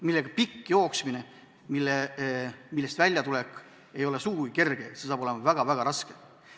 See on pikk jooksmine, millest välja tulla pole sugugi kerge, see saab olema väga raske.